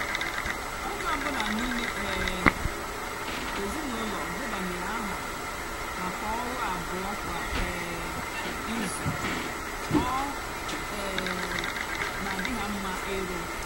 ónyé ọ bụlà n'ímé um ézinụlọ debanyere áhà mákà ọrụ abúọ kwá um ízú ọ um nà-àdị hà mmá ịrù.